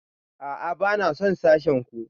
A'a, ba na son sashen ku